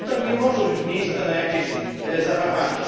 Tutaj nie może być miejsca na jakieś zawahanie.